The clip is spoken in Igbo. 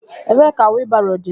Ebee ka wheel barrow dị?